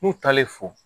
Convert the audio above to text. N'u taalen fo